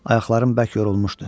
Ayaqlarım bək yorulmuşdu.